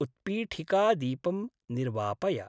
उत्पीठिकादीपं निर्वापय।